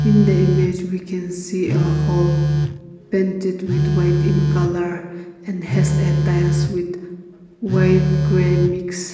in the image we can see a hall painted with white in colour and has a tiles with white grey mix.